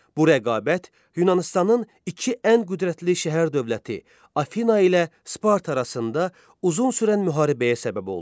Bu rəqabət Yunanıstanın iki ən qüdrətli şəhər dövləti, Afina ilə Sparta arasında uzun sürən müharibəyə səbəb oldu.